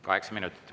Kaheksa minutit.